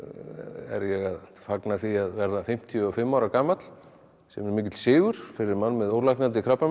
er ég að fagna því að verða fimmtíu og fimm ára gamall sem er mikill sigur fyrir mann með ólæknandi krabbamein